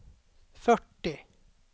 fyrtio